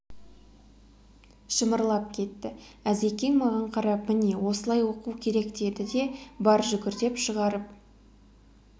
шымырлап кетті әзекең маған қарап міне осылай оқу керек деді де бар жүгір деп шығарып